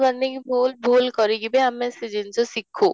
ମାନେ କି ଭୁଲ ଭୁଲ କରିକି ବି ଆମେ ସେ ଜିନିଷକୁ ଶିଖୁ